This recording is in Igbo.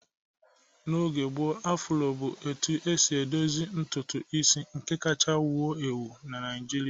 N'oge gboo, Afroo bụ etu esi edozi ntutu isi nke kacha ewu ewu Naijiria